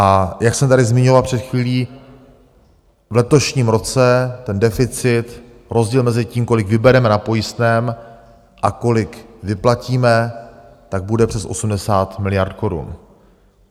A jak jsem tady zmiňoval před chvílí, v letošním roce ten deficit, rozdíl mezi tím, kolik vybereme na pojistném a kolik vyplatíme, tak bude přes 80 miliard korun.